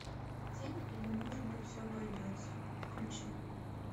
тень или может быть все обойдется включи